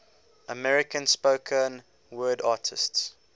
american spoken word artists